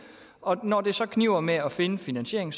og når det så kniber med at finde finansieringen